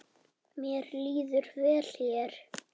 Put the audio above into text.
Mér líður vel hér.